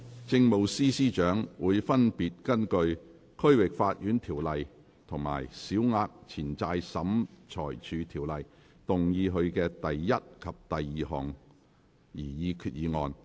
政務司司長會分別根據《區域法院條例》和《小額錢債審裁處條例》動議他的第一及二項擬議決議案。